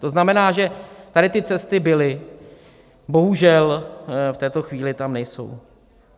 To znamená, že tady ty cesty byly, bohužel v této chvíli tam nejsou.